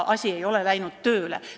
Asi ei ole hakanud tööle.